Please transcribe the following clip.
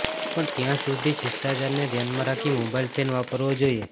પણ ત્યાં સુધી શિષ્ટાચારને ધ્યાનમાં રાખી મોબાઇલ ફેન વાપરવો જોઈએ